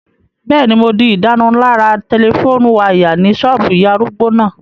Bẹ́ẹ̀ni, mo di ìdárunlárà tẹlifóònù wáyà ní ṣọ́ọ̀bù ìyá arúgbó náà